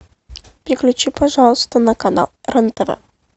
переключи пожалуйста на канал рен тв